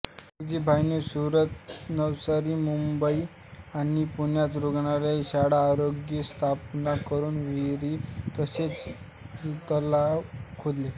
जीजीभायनी सुरत नवसारी मुंबई आणि पुण्यात रुग्णालये शाळा अग्यारी स्थापन करून विहिरी तसेच तलाव खोदले